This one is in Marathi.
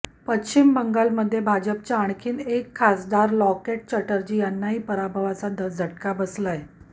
पश्चिम बंगालमध्ये भाजपच्या आणखीन एक खासदार लॉकेट चॅटर्जी यांनाही पराभवाचा झटका बसलाय